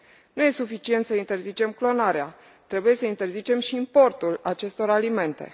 Nu e suficient să interzicem clonarea, trebuie să interzicem și importul acestor alimente.